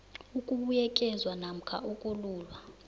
ukubuyekezwa namkha ukululwa